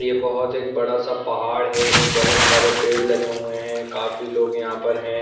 ये बहुत एक बड़ा सा पहाड़ हैं बहुत सारे पेड़ लगे हुए हैं काफी लोग यहाँ पर हैं ।